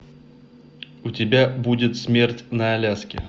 у тебя будет смерть на аляске